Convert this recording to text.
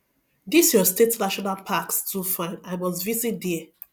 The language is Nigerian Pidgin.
this your state national packs too fine i must visit there